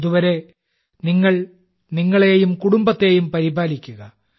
അതുവരെ നിങ്ങൾ നിങ്ങളെയും കുടുംബത്തെയും പരിപാലിക്കുക